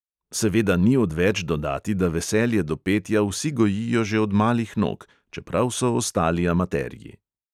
Seveda ni odveč dodati, da veselje do petja vsi gojijo že od malih nog, čeprav so ostali amaterji.